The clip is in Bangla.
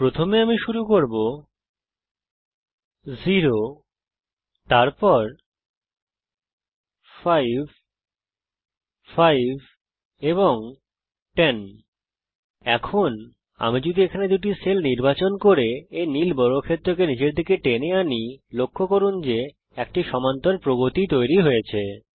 প্রথমে আমি শুরু করব ০ তারপর ৫ ৫ এবং ১০ এখন আমি যদি এখানে দুটি সেল্ নির্বাচন করি এবং তারপর এই নীল বর্গক্ষেত্রকে নিচের দিকে টেনে আনি লক্ষ্য করুন যে একটি সমান্তর প্রগতি তৈরি হয়েছে